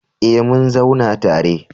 Eh mun zauna tare